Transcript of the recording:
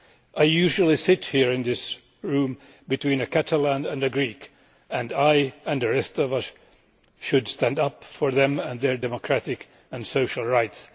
I usually sit here in this room between a Catalan and a Greek and I, and the rest of us, should stand up for them and their democratic and social rights.